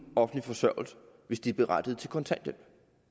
offentlig forsørgelse hvis de er berettiget til kontanthjælp